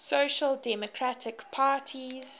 social democratic parties